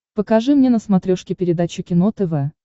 покажи мне на смотрешке передачу кино тв